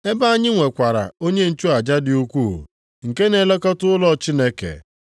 ebe anyị nwekwara onye nchụaja dị ukwuu, nke na-elekọta ụlọ Chineke,